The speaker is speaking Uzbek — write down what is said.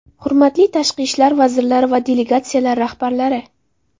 Hurmatli tashqi ishlar vazirlari va delegatsiyalar rahbarlari!